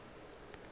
a tloga a ya go